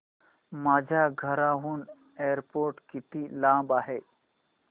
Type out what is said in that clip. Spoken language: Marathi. माझ्या घराहून एअरपोर्ट किती लांब आहे